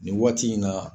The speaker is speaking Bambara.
Nin waati in na